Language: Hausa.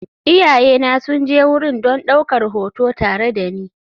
Iyayena sun je wurin don ɗaukar hoto tare da ni.